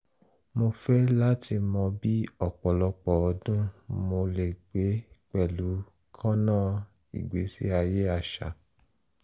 mo fẹ lati mọ bi ọpọlọpọ ọdun mo le gbe pẹlu kanna igbesi aye aṣa